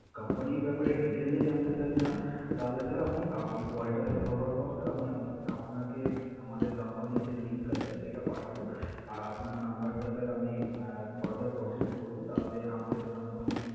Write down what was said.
Company র ব্যাপারে detail এ জানতে sir চান, তাহলে sir আমি আহ এই call টা শেষ হবার পর sir আমি উম আপনাকে আমাদের company র যে link আছে সেটা পাঠাবো। আর আপনার number টা sir আমি further proceed করবো। তাহলে আমাদের company